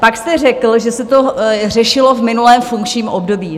Pak jste řekl, že se to řešilo v minulém funkčním období.